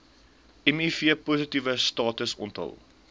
mivpositiewe status onthul